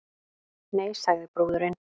Nei, sagði brúðurin.